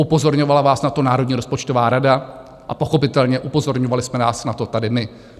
Upozorňovala vás na to Národní rozpočtová rada a pochopitelně upozorňovali jsme nás na to tady my.